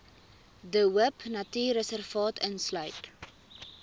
de hoopnatuurreservaat insluit